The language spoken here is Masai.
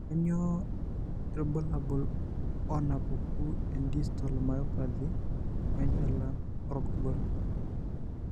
Kainyio irbulabul onaapuku endistal myopathy oenchalan orgorgol?